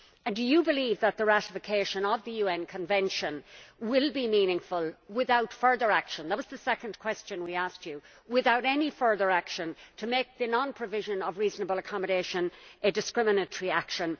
Do you believe that the ratification of the UN Convention will be meaningful that was the second question we asked you without any further action to make the non provision of reasonable accommodation a discriminatory action?